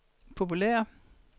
populære